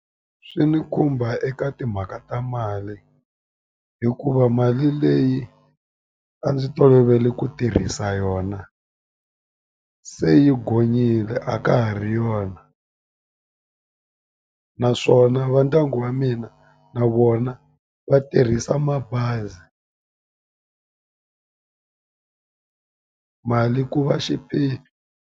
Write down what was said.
Swi ni khumba eka timhaka ta mali hikuva mali leyi a ndzi tolovele ku tirhisa yona se yi gonyile a ka ha ri yona naswona va ndyangu wa mina na vona va tirhisa mabazi mali ku va .